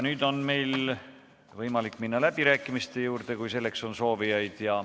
Nüüd on võimalik minna läbirääkimiste juurde, kui on soovijaid.